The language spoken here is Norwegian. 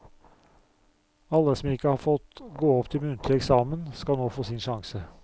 Alle som ikke har fått gå opp til muntlig eksamen, skal nå få sin sjanse.